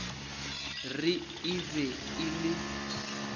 re e be e le